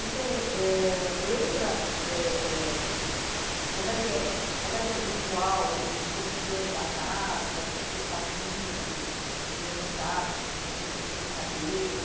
E você eh lembra ãh como é que é como é que era o ritual, o cotidiano da casa, o que que vocês faziam, como levantavam, o que que vocês faziam, suas brincadeiras?